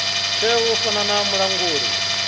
teaho u fana na mulanguli